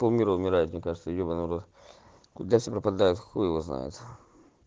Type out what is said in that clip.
пол мир умирает мне кажется ебанный в рот куда все пропадают хуй его знает